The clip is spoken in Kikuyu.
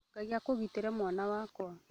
Ngai akũgitĩre mwana wakwa